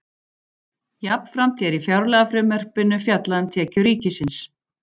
Jafnframt er í fjárlagafrumvarpinu fjallað um tekjur ríkisins.